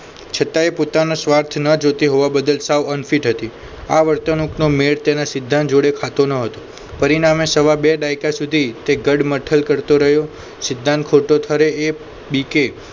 છતાં એ પોતાનો સ્વાર્થ ન જોતી હોવા બદલ સાવન unfit હતી આ વર્તણૂકનો મેળ તેના સિદ્ધાંત જોડે ખાતો ન હતો. પરિણામે સવા બે દાયકા સુધી તે ગઢમથલ કરતો રહ્યો સિધ્ધાંત ખોટો ઠરે એ બીકે